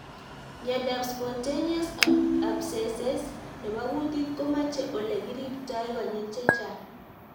Miondop Spontaneous abscesses nepo kutit komache ole komache ole kiriptoi konyil chechang